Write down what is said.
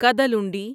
Kadalundi